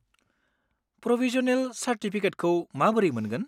Provisional चार्टिफिकेटखौ माबोरै मोनगोन?